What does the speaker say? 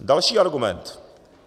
Další argument.